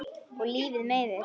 Og lífið meiðir.